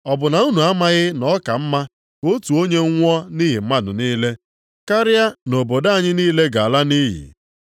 Ọ bụ na unu amaghị na ọ ka mma ka otu onye nwụọ nʼihi mmadụ niile, karịa nʼobodo anyị niile ga-ala nʼiyi.”